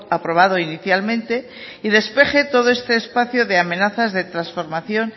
aprobado inicialmente y despeje todo este espacio de amenazas de transformación